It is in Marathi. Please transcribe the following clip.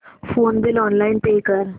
फोन बिल ऑनलाइन पे कर